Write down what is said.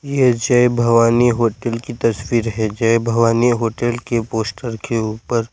यह जय भवानी होटल की तस्वीर है जय भवानी होटल के पोस्टर के ऊपर--